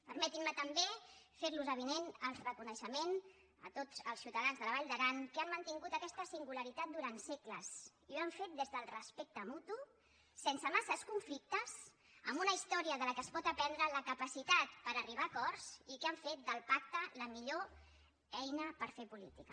permetin me també fer los avinent el reconeixement a tots els ciutadans de la vall d’aran que han mantingut aquesta singularitat durant segles i ho han fet des del respecte mutu sense massa conflictes amb una història de la qual es pot aprendre la capacitat per arribar a acords i que han fet del pacte la millor eina per fer política